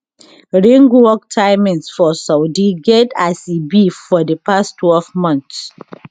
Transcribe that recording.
ringwalk timings for saudi get as e be for di past twelve months